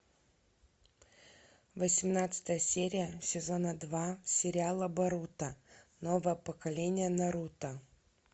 восемнадцатая серия сезона два сериала боруто новое поколение наруто